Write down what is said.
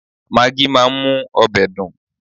Magí máa ń mú ọbẹ̀ dùn